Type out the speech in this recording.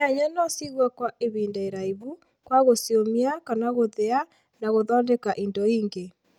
Nyanya no cigwo kũa ihida iraihu kũa gũciũmia kana gũthia na gũthondeka indo ingi